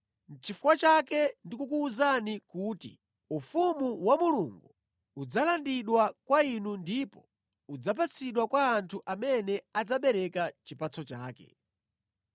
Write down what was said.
“Nʼchifukwa chake ndi kukuwuzani kuti ufumu wa Mulungu udzalandidwa kwa inu ndipo udzapatsidwa kwa anthu amene adzabereka chipatso chake.